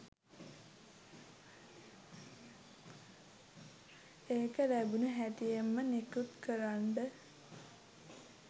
ඒක ලැබුණු හැටියෙම නිකුත් කරන්ඩ